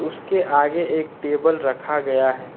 उसके आगे एक टेबल रखा गया है।